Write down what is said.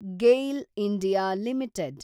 GAIL (India) limited